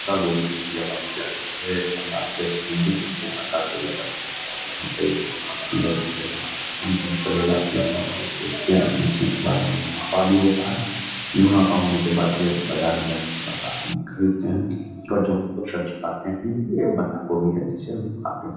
पत्ता गोभी एक बंदा हमसे हिंदी में हम लोग बंदा गोभी कहते हैं और यहाँ पे एक सब्ज़ी होती है यहाँ से शाम को हमको ले जाते है और बेचते हैं बेचने के बाद उन्हें मुनाफ़ा भी होता है। मुनाफा होने के बाद ये बाज़ार में जाने के बाद आदमी खरीदते हैं और जो हम लोग सब्जी खाते हैं। यही ये भी एक बंदा गोभी है जिसे हम लोग खाते हैं।